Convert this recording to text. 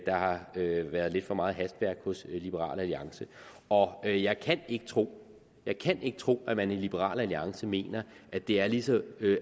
har været lidt for meget hastværk hos liberal alliance og jeg kan ikke tro jeg kan ikke tro at man i liberal alliance mener at det er lige så